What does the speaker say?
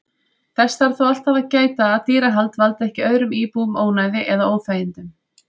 Þess þarf þó alltaf að gæta að dýrahald valdi ekki öðrum íbúum ónæði eða óþægindum.